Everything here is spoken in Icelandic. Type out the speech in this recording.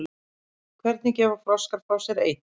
Hvernig gefa froskar frá sér eitur?